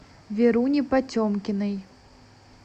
веруне потемкиной